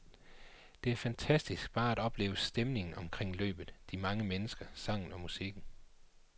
Det er fantastisk bare at opleve stemningen omkring løbet, de mange mennesker, sangen og musikken.